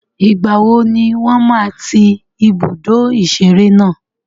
Ìgbàwo ni wọ́n máa ń tí ibùdó ìṣeré náà?